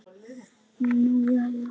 Nú jæja.